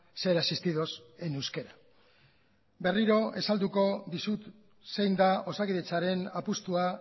ser asistidos en euskera berriro azalduko dizut zein da osakidetzaren apustua